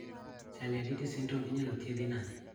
Chaliaditi syndrome inyalo thiedhi nade